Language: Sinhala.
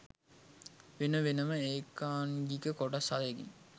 වෙන වෙනම ඒකාංගික කොටස් හයකින්